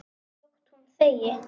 Þótt hún þegi.